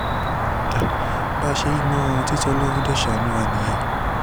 bá a ṣe yí i mọ́ra wọn títí tí ọlọ́run dé sáànù wa nìyẹn